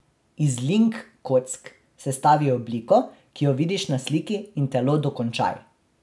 Iz link kock sestavi obliko, ki jo vidiš na sliki, in telo dokončaj.